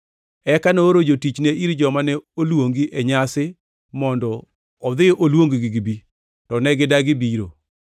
Eka nooro jotichne ir joma ne oluongi e nyasi mondo odhi oluong-gi gibi. To ne gidagi biro.